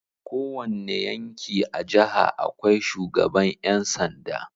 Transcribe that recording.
Kowanne yanki a jaha akwai shugaban yansanda